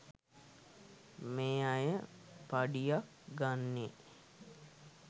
මේ අය පඩියක් ගන්නේ